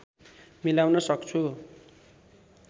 मिलाउन सक्छु